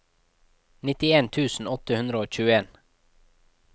nittien tusen åtte hundre og tjueen